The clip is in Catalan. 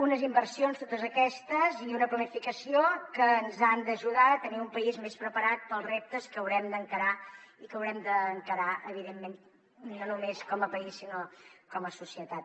unes inversions totes aquestes i una planificació que ens han d’ajudar a tenir un país més preparat per als reptes que haurem d’encarar i que haurem d’encarar evidentment no només com a país sinó com a societat